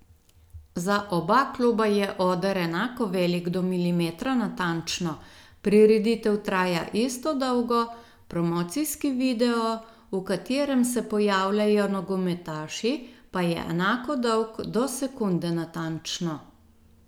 Za oba kluba je oder enako velik do milimetra natančno, prireditev traja isto dolgo, promocijski video, v katerem se pojavljajo nogometaši, pa je enako dolg do sekunde natančno.